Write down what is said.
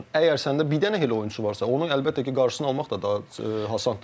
Əgər səndə bir dənə elə oyunçu varsa, onu əlbəttə ki, qarşısını almaq da daha asandır.